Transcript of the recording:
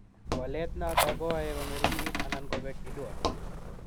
Walet noto koae kong'ering'it anan kobek IDUA.